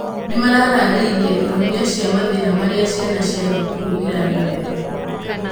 Nĩmararĩrĩirie ihonia cia mathĩna marĩa ciana cia thukuru iragerera